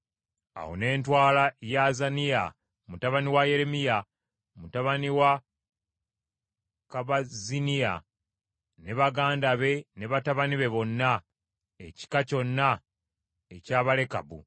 Awo ne ntwala Yaazaniya mutabani wa Yeremiya, mutabani wa Kabazziniya ne baganda be ne batabani be bonna, ekika kyonna eky’Abalekabu.